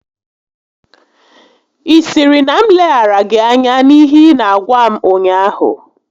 Ị sịrị na m leghara gị anya n'ihe ị n'agwa m ụnyaahụ?